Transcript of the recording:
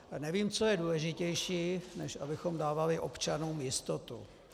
Nevím, co je důležitější, než abychom dávali občanům jistotu.